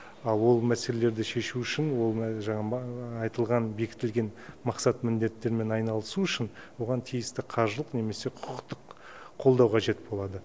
ал ол мәселелерді шешу үшін айтылған бекітілген мақсат міндеттермен айналысу үшін оған тиісті қаржылық немесе құқықтық қолдау қажет болады